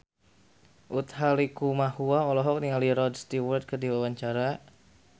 Utha Likumahua olohok ningali Rod Stewart keur diwawancara